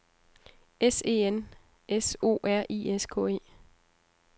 S E N S O R I S K E